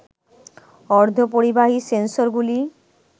অর্ধ পরিবাহী সেন্সরগুলি